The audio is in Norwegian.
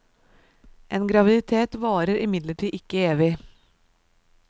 En graviditet varer imidlertid ikke evig.